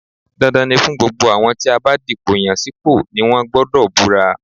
Dandan ni fún gbogbo àwọn tí a bá dìpò yàn sípò ni wọ́n gbọdọ̀ búra